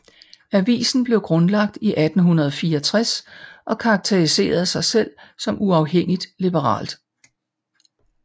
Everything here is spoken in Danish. Avisen blev grundlagt i 1864 og karakteriserer sig selv som uafhængigt liberalt